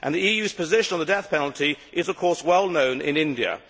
The EU's position on the death penalty is of course well known in India.